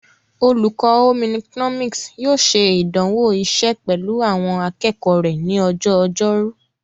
Olùkọ́ Home economics yóò ṣe ìdánwò iṣẹ́ pẹ̀lú àwọn akẹ́kọ̀ọ́ rẹ ní ọjọ́ ọjọ́rú.